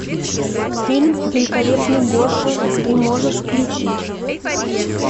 фильм великолепный гоша ты можешь включить